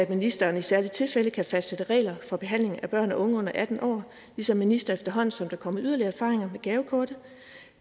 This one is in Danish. ministeren i særlige tilfælde kan fastsætte regler for behandling af børn og unge under atten år ligesom ministeren efterhånden som der kommer yderligere erfaringer med gavekortet